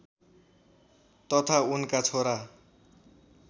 तथा उनका छोरा